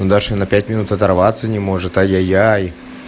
даша на пять минут оторваться не может ай яй яй